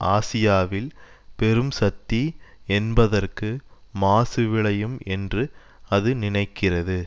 ஆசியாவில் பெரும் சக்தி என்பதற்கு மாசு விளையும் என்று அது நினைக்கிறது